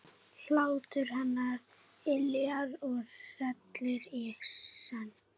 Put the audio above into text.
Hlátur hennar yljar og hrellir í senn.